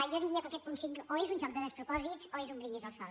jo diria que aquest punt cinc o és un joc de despropòsits o és un brindis al sol